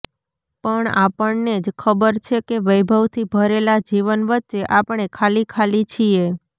પણ આપણને જ ખબર છે કે વૈભવથી ભરેલા જીવન વચ્ચે આપણે ખાલી ખાલી છીએ